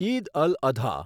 Eid al Adha